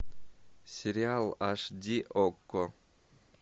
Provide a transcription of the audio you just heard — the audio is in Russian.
сериал аш ди окко